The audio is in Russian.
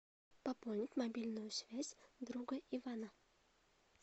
пополнить мобильную связь друга ивана